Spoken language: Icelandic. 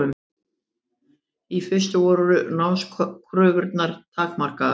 Í fyrstu voru námskröfurnar takmarkaðar.